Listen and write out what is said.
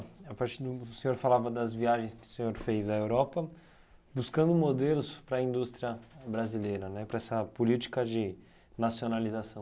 A partir do o senhor falava das viagens que o senhor fez à Europa, buscando modelos para a indústria brasileira né, para essa política de nacionalização.